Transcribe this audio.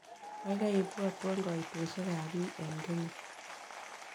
Gaigai ipwotwon kaitosysiekap biik eng' kenya